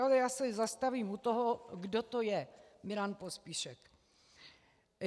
Ale já se zastavím u toho, kdo to je Milan Pospíšek.